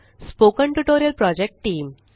spoken tutorial project team